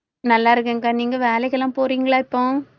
நல்லா இருக்கேன்கா, நீங்க வேலைக்கெல்லாம் போறீங்களா இப்போ?